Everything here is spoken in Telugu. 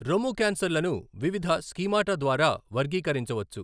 రొమ్ము క్యాన్సర్లను వివిధ స్కీమాటా ద్వారా వర్గీకరించవచ్చు.